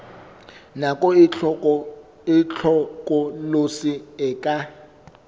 nako e hlokolosi e ka